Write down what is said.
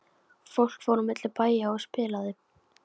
Fólk fór á milli bæja og spilaði.